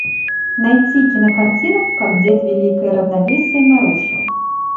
найти кинокартину как дед великое равновесие нарушил